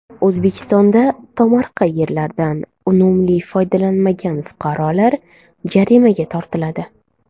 O‘zbekistonda tomorqa yerlardan unumli foydalanmagan fuqarolar jarimaga tortiladi.